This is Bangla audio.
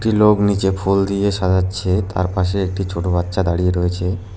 একটি লোক নীচে ফুল দিয়ে সাজাচ্ছে তার পাশে একটি ছোটো বাচ্চা দাঁড়িয়ে রয়েছে।